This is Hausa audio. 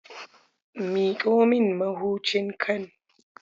Miƙo min mahucin can.